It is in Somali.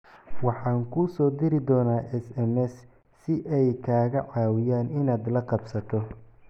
Waxaan kuu soo diri doonaa SMS si ay kaaga caawiyaan inaad la qabsato."